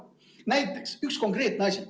Näiteks üks konkreetne asi.